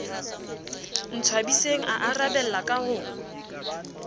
ntshwabiseng a arabella ka ho